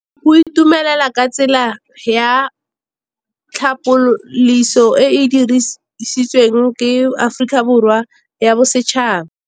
Go itumela ke tsela ya tlhapolisô e e dirisitsweng ke Aforika Borwa ya Bosetšhaba.